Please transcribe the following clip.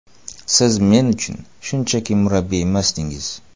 Siz men uchun shunchaki murabbiy emasdingiz.